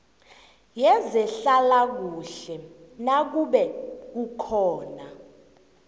yezehlalakuhle nakube kukhona